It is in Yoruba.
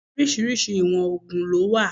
Orísìírísìí ìwọ̀n ògùn ló wà